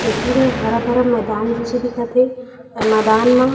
तस्वीर हे हरा-भरा मैदान जिसे दिखत हे अउ ए मैदान मा--